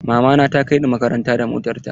Mama na ta kai ni makaranta da motar ta.